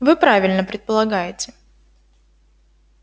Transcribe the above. вы правильно предполагаете